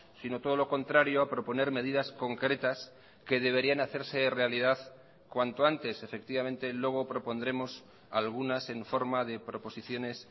sino todo lo contrario a proponer medidas concretas que deberían hacerse realidad cuanto antes efectivamente luego propondremos algunas en forma de proposiciones